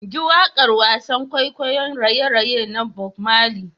JI wakar wasan kwaikwayon raye-raye na Bob Marley.